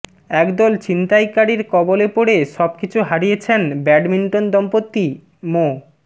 একদল ছিনতাইকারীর কবলে পড়ে সবকিছু হারিয়েছেন ব্যাডমিন্টন দম্পতি মো